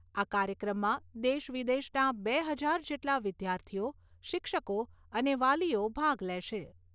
આ કાર્યક્રમમાં દેશ વિદેશના બે હજાર જેટલા વિદ્યાર્થીઓ, શિક્ષકો અને વાલીઓ ભાગ લેશે.